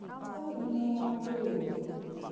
ਮੈਂ ਕਿਹਾ ਨਿੰਮੋ ਮਾਸੀ